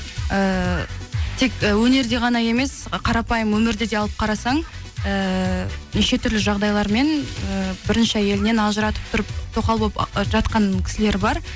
ііі тек өнерде ғана емес қарапайым өмірде де алып қарасаң ііі неше түрлі жағдайлармен і бірінші әйелінен ажыратып тұрып тоқал болып ы жатқан кісілер бар